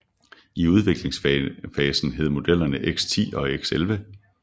I udviklingsfasen hed modellerne X10 og X11